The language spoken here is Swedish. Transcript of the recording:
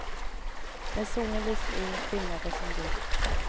När solen lyser in skimrar det som guld.